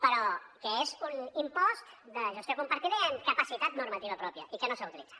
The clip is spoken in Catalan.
però que és un impost de gestió compartida i amb capacitat normativa pròpia i que no s’ha utilitzat